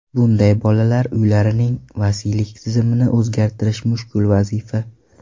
Bunday bolalar uylarining vasiylik tizimini o‘zgartirish mushkul vazifa.